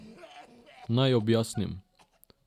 Naj objasnim.